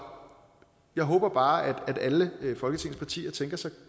jeg håber bare at alle folketingets partier tænker sig